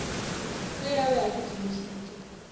ge a be a kitimišitše